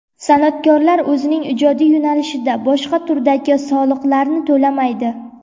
San’atkorlar o‘zining ijodiy yo‘nalishida boshqa turdagi soliqlarni to‘lamaydi.